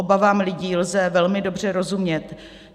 Obavám lidí lze velmi dobře rozumět.